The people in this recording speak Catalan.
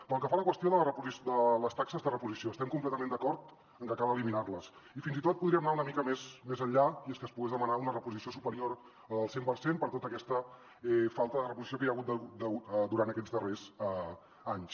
pel que fa a la qüestió de les taxes de reposició estem completament d’acord amb que cal eliminar les i fins i tot podríem anar una mica més enllà i és que es pogués demanar una reposició superior a la del cent per cent per tota aquesta falta de reposició que hi ha hagut durant aquests darrers anys